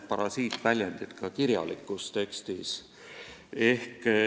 Parasiitväljendid kipuvad ka kirjalikku teksti.